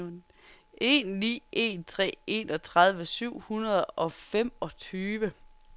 en ni en tre enogtredive syv hundrede og femogtyve